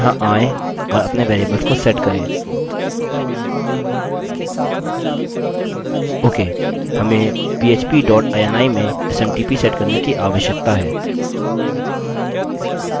okay हमें php dot ini में smtp set करने की आवश्यकता है